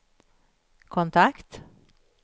kontakt